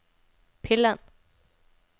pillen